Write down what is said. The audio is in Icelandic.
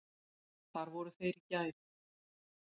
Þar voru þeir í gær.